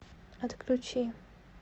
отключи